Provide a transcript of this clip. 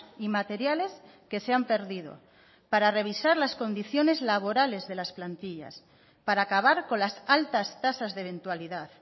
y materiales que se han perdido para revisar las condiciones laborales de las plantillas para acabar con las altas tasas de eventualidad